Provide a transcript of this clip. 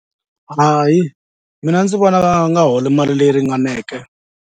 Hayi mina ndzi vona va nga holi mali leyi ringaneke.